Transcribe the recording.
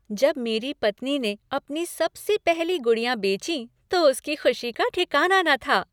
जब मेरी पत्नी ने अपनी सबसे पहली गुड़ियाँ बेचीं तो उसकी खुशी का ठिकाना न था।